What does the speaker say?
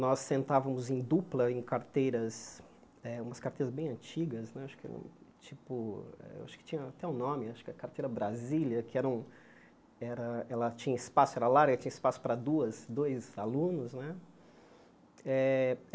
Nós sentávamos em dupla em carteiras eh, umas carteiras bem antigas né, acho que era tipo acho que tinha até um nome, acho que carteira Brasília, que era um eh ela tinha espaço, era larga, tinha espaço para duas dois alunos né eh.